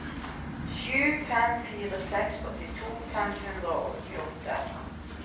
sju fem fire seks åttito fem hundre og åttiåtte